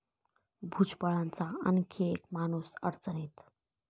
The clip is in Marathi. भुजबळांचा आणखी एक 'माणूस'अडचणीत